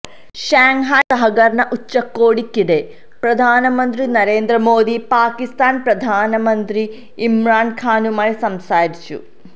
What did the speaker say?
Shanghai സഹകരണ ഉച്ചകോടിക്കിടെ പ്രധാനമന്ത്രി നരേന്ദ്രമോദി പാകിസ്ഥാന് പ്രധാനമന്ത്രി ഇമ്രാന്ഖാനുമായി സംസാരിച്ചു